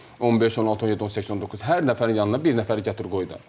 15, 16, 17, 18, 19 hər nəfərin yanına bir nəfər gətir qoy da.